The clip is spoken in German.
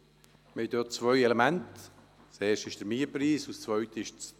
Es liegen hier zwei Elemente vor, das eine ist der Mietpreis und das andere die Dauer.